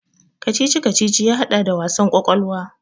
Kacici-kacici ya haɗa da wasan kwakwalwa.